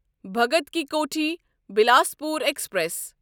Bhagat ki Kothi Bilaspur express